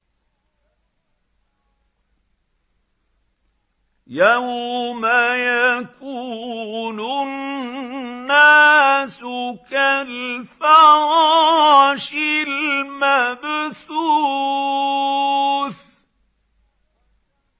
يَوْمَ يَكُونُ النَّاسُ كَالْفَرَاشِ الْمَبْثُوثِ